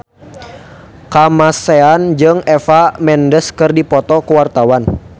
Kamasean jeung Eva Mendes keur dipoto ku wartawan